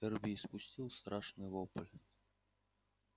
эрби испустил страшный вопль